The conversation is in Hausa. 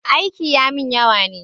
Aiki ya mun yawa ne